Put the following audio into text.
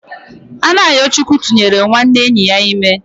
Anayochukwu tụnyere nwanne enyi ya ime